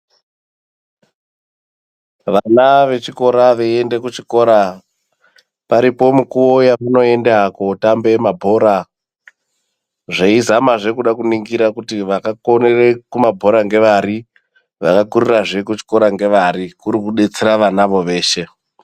Vana vechikora veyiende kuchikora paripo mukuwo yamunoenda kotamba mabhora, zveyi zama zvee kude kuningira kuti vakakonere kumabhora ngevari vakakurira zvee kuchikora ngevari kuri kubetsera vana voo veshe.